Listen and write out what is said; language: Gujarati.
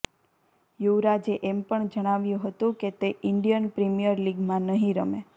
યુવરાજે એમ પણ જણાવ્યુ હતું કે તે ઇન્ડિયન પ્રીમિયર લીગમાં નહી રમે